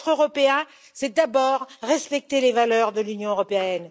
Être européen, c'est d'abord respecter les valeurs de l'Union européenne.